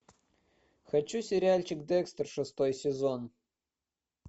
хочу сериальчик декстер шестой сезон